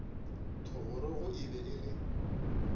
thogorogo e be e le